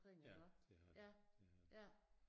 Ja det har de det har de